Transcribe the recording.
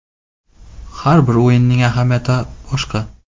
Har bir o‘yinning ahamiyati boshqa.